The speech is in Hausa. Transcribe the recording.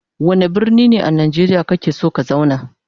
Wanda birni ne a nageriya kake son ka zauna?